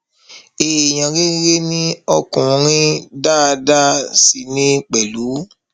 èèyàn rere ni ọkùnrin dáadáa sì ní pẹlú